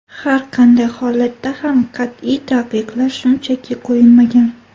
Har qanday holatda ham qat’iy taqiqlar shunchaki qo‘yilmagan.